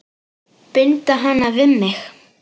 Binda hana við mig.